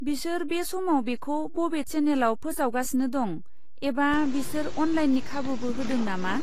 बिसोर बे समाव बेखौ बबे चेनेलाव फोसावगासिनो दं एबा बिसोर अनलाइननि खाबुबो होदों नामा?